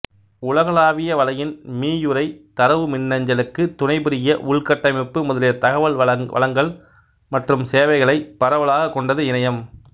உலகளாவிய வலையின் மீயுரை தரவுமின்னஞ்சலுக்கு துணைபுரிய உள்கட்டமைப்பு முதலிய தகவல் வளங்கள் மற்றும் சேவைகளை பரவலாக கொண்டது இணையம்